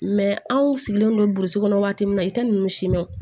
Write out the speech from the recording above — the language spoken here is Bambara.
anw sigilen don burusi kɔnɔ waati min na i tɛ ninnu si ma